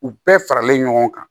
U bɛɛ faralen ɲɔgɔn kan